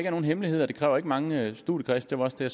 er nogen hemmelighed og det kræver ikke mange studiekredse det var også det